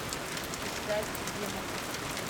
искать демоны